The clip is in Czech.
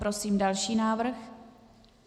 Prosím další návrh.